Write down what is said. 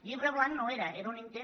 llibre blanc no era era un intent